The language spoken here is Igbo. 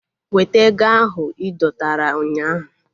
Weta ego ahu idọtara ụnyaahụ!